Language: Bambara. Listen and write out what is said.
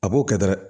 A b'o kɛ dɔrɔn